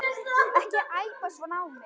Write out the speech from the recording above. Ekki æpa svona á mig.